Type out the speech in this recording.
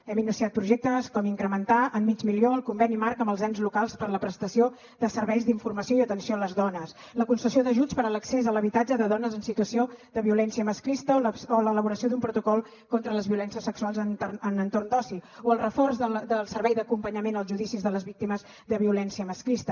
hem iniciat projectes com incrementar en mig milió el conveni marc amb els ens locals per a la prestació de serveis d’informació i atenció a les dones la concessió d’ajuts per a l’accés a l’habitatge de dones en situació de violència masclista o l’elaboració d’un protocol contra les violències sexuals en entorn d’oci o el reforç del servei d’acompanyament als judicis de les víctimes de violència masclista